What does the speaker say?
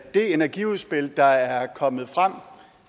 det energiudspil der er kommet